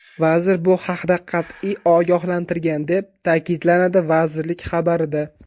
Vazir bu haqda qat’iy ogohlantirgan”, deb ta’kidlanadi vazirlik xabarida.